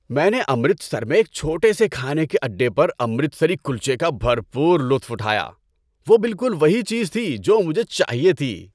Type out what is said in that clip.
میں نے امرتسر میں ایک چھوٹے سے کھانے کے اڈے پر امرتسری کلچے کا بھرپور لطف اٹھایا۔ وہ بالکل وہی چیز تھی جو مجھے چاہیے تھی۔